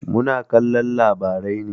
Muna kallon labarai ne.